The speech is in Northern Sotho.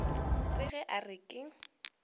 re ge a re ke